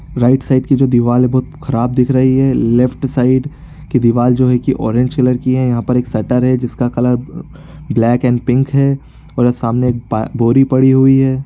Right side की जो दीवार है बहुत खराब दिख रही है लेफ्ट साइड की दीवार जो है की ऑरेंज कलर की है यहां एक शटर है जिसका कलर ब्लैक एंड पिंक है और सामने एक बोरी पड़ी हुई है।